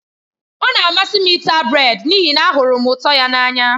Ọ na-amasị m ịta brèd n'ihi na m hụrụ ụtọ ya n'anya.